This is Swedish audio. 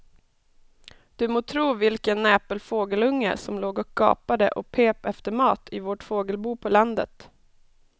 Du må tro vilken näpen fågelunge som låg och gapade och pep efter mat i vårt fågelbo på landet.